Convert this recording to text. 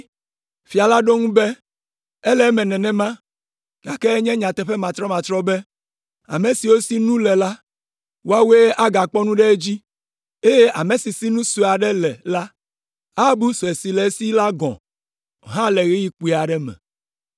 “Fia la ɖo eŋu be, ‘Ele eme nenema, gake enye nyateƒe matrɔmatrɔ be, ame siwo si nu le la, woawoe agakpɔ nu ɖe edzi, eye ame si si nu sue aɖe le la abu sue si le esi la gɔ̃ hã le ɣeyiɣi kpui aɖe me.